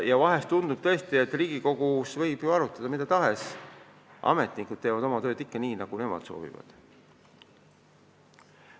Vahel tundub tõesti, et Riigikogus võib arutada mida tahes, ametnikud teevad oma tööd ikka nii, nagu nemad soovivad.